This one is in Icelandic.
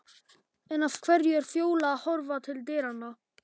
En af hverju er Fjóla að horfa til dyranna?